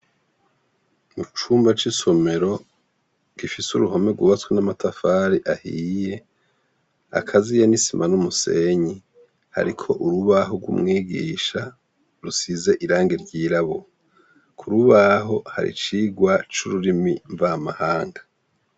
Mu cumba c'isomero gifise uruhome gubatswe n'amatafari ahiye akaziye n'isima n'umusenyi. Hariko urubaho rw'umwigisha rusize irangi ry'irabura ku rubaho hari icirwa c'ururimi mvamahanga.